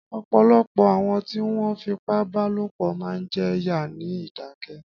Ọ̀pọ̀lọpọ̀ àwọn tí wọ́n fipá bá lòpọ̀ máa ń jẹ yà ní ìdákẹ́.